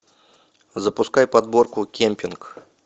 запускай подборку кемпинг